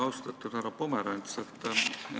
Austatud härra Pomerants!